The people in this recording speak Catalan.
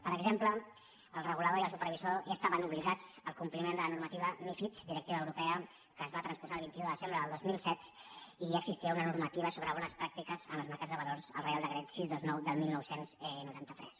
per exemple el regulador i el supervi·sor ja estaven obligats al compliment de la normativa mifid directiva europea que es va transposar el vint un de desembre del dos mil set i ja existia una normativa sobre bones pràctiques en els mercats de valors al reial de·cret sis cents i vint nou del dinou noranta tres